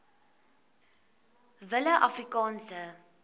willieafrikaanse